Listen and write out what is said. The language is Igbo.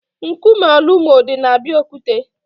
Nkume Olumo di na Abeokuta.